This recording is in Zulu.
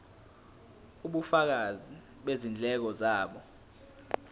ubufakazi bezindleko zabo